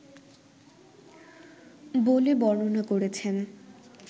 বলে বর্ণনা করেছেন